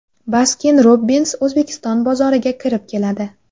Baskin-Robbins O‘zbekiston bozoriga kirib keladi.